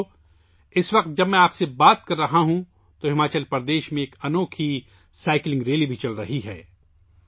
ساتھیو، اس وقت جب میں آپ سے بات کر رہا ہوں، ہماچل پردیش میں ایک انوکھی سائیکلنگ ریلی بھی نکل رہی ہے